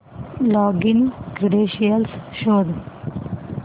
login credentials शोध